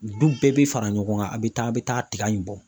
Du bɛɛ bɛ fara ɲɔgɔn kan a bɛ taa a bɛ taa tiga in bɔ